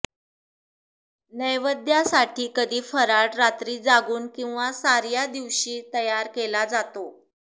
नैवद्यासाठी कधी फराळ रात्री जागून किंवा सार्या दिवशी तयार केला जातो